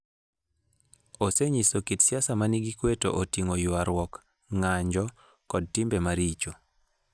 Osenyiso kit siasa ma nigi kuwe to oting'o ywaruok, ng'anjo, koda timbe maricho.